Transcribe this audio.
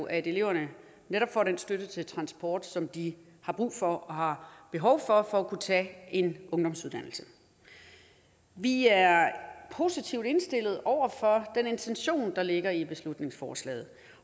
at eleverne netop får den støtte til transport som de har brug for og har behov for for at kunne tage en ungdomsuddannelse vi er positivt indstillet over for den intention der ligger i beslutningsforslaget